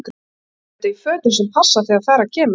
Þú verður auðvitað í fötum sem passa þegar þar að kemur!